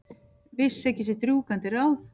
Vissi ekki sitt rjúkandi ráð.